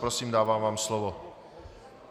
Prosím, dávám vám slovo.